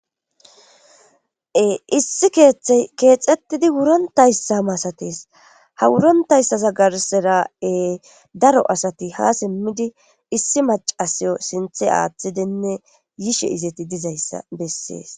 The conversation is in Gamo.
Issi keexettidi wurontayssa masates ha wurontayssazagarseraI daro asati ha simmidi issi macasiyo sinthe aaththidenne yishe izati dizayssa bessees.